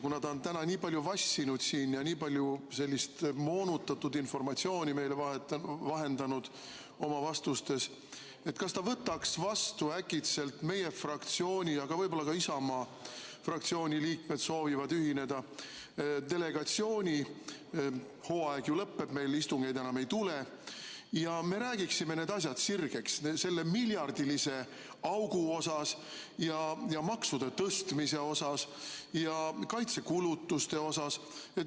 Kuna ta on täna siin nii palju vassinud ja nii palju sellist moonutatud informatsiooni meile oma vastustes vahendanud, siis kas ta äkki võtaks vastu meie fraktsiooni – aga võib-olla ka Isamaa fraktsiooni liikmed soovivad ühineda, delegatsiooni hooaeg ju lõpeb, meil istungeid enam ei tule – ja me räägiksime need asjad sirgeks, nii selle miljardilise augu, maksude tõstmise kui ka kaitsekulutused.